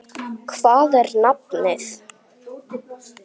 Hvað er nafnið?